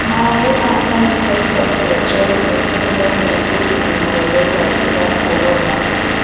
Maaĩ na canitaica cia njohi nĩcihũthagĩrwo kũgirĩrĩria vairasi ya korona